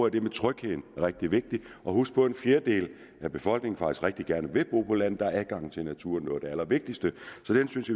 at det med trygheden er rigtig vigtigt husk på at en fjerdedel af befolkningen faktisk rigtig gerne vil bo på landet der er adgangen til naturen jo det allervigtigste så det synes